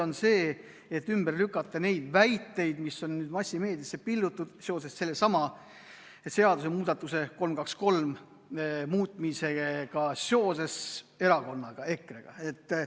Ma tahan ümber lükata neid väiteid, mis on massimeediasse pillutud seoses sellesama seadusemuudatusega, eelnõuga 323 meie erakonna kohta, EKRE kohta.